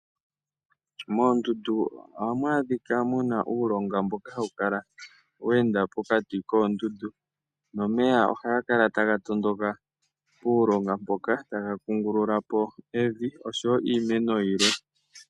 Moondundu oha mu adhika muna uulonga mboka hawu kala we ende pokati koondudu, nomeya ohaga kala taga tondoka puulonga mpoka taga kungulula po evi oshowo iimeno yilwe.